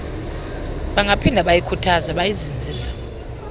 bangaphinda bayikhuthaze bayizinzise